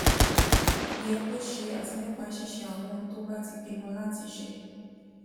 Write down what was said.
yẹ kó ṣe àti nípa ṣíṣe àwọn ohun tó bá ti pinnu láti ṣe